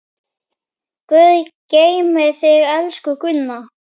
Guð geymi þig, elsku Gunna.